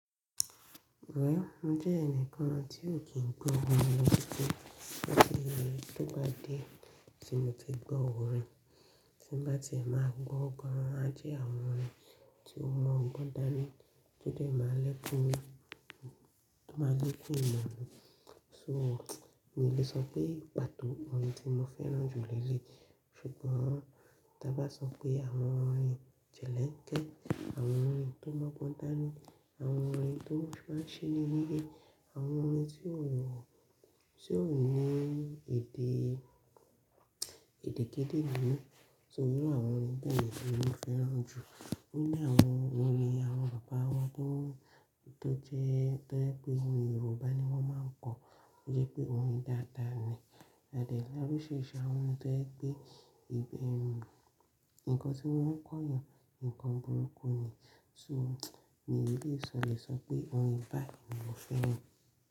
Well, mo jẹ́ ẹnìkan tí ò kí ń gbọ́ orin lọ́kùú, bóti tí mo bá dé tí mo ti gbọ́ orin, tí bá tie máa gbọ́ gan an, a jẹ́ àwọn orin tí ó mọgbọ́n dání, tí ó dè máa lékún mi, tó máa lékún mi mọ́. So what, mi le sọ pé pàtó orin tí mo fẹ́ràn jù lẹ́lẹ̀. Ṣùgbọ́n, tà bá sọ pé àwọn orin jẹ̀lẹ́ńkẹ́, àwọn orin tó mọgbọ́n dání, àwọn orin tó máa ń ṣerun nílé, àwọn orin tí ó ní, ti o ni èdè, èdè kedè ninu, so iru àwọn orin bẹ́ẹ̀ ni mo fẹ́ràn jù, feran ju. Oní àwọn orin àwọn bàbá wa to, tó jẹ́, tó ye pe orin Yorùbá ni wọ́n máa ń kọ, ó jẹ́ pé orin dáadáa ni. Adé Lárúṣẹ́ ìṣe, àwọn orin tó ye pe ìbẹrun, nǹkan tí wọ́n ń kọ́ yan, nǹkan burúkú ni. So, mi nile sọ lè sọ pé orin báyii ni mo fẹ́ràn.